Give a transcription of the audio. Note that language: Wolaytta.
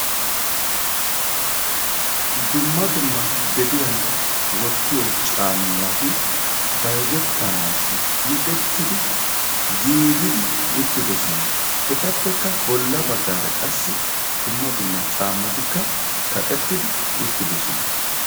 Dumma dumma gediyan wottiyo caammati bayzzetanaasi micettidi giigidi uttidosona. etappekka bolla baggaara qassi dumma dumma caammatikka kaqettidi uttidosona.